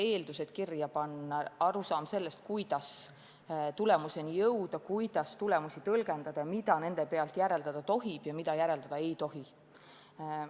Eeldused tuleb kirja panna ja on muudki arusaamad, kuidas tulemuseni jõuda, kuidas tulemusi tõlgendada ja mida nende pealt järeldada tohib ja mida järeldada ei tohi.